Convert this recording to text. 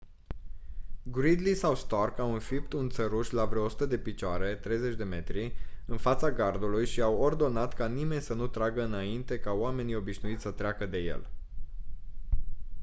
gridley sau stark au înfipt un țăruș la vreo 100 de picioare 30 m în fața gardului și au ordonat ca nimeni să nu tragă înainte ca oamenii obișnuiți să treacă de el